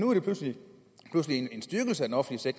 er blevet til en styrkelse af den offentlige